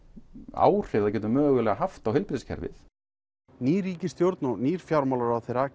áhrif það getur haft á heilbrigðiskerfið í nýrri ríkisstjórn með nýjum fjármálaráðherra